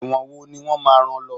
ẹwọ́n wò ni wón má rán lo